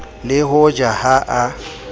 le ho ja ha a